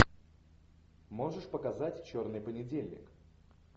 можешь показать черный понедельник